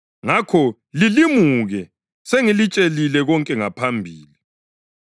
Ngakho lilimuke; sengilitshelile konke ngaphambili.